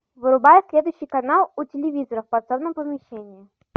вырубай следующий канал у телевизора в подсобном помещении